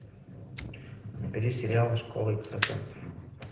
набери сериал школа экстрасенсов